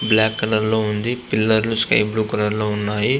Black colour లో ఉంది. Pillar లు స్కై బ్లూ కలర్ లో ఉన్నాయి.